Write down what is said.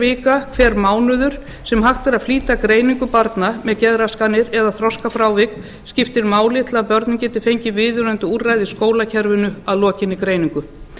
vika hver mánuður sem hægt er að flýta greiningu barna með geðraskanir eða þroskafrávik skiptir máli til að börnin geti fengið viðunandi úrræði í skólakerfinu að lokinni greiningu